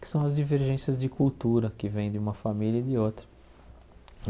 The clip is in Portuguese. Que são as divergências de cultura que vêm de uma família e de outra.